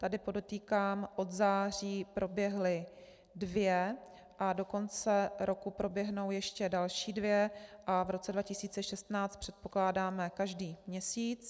Tady podotýkám - od září proběhla dvě a do konce roku proběhnou ještě další dvě a v roce 2016 předpokládáme každý měsíc.